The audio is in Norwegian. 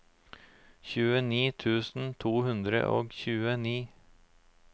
tjueni tusen to hundre og tjueni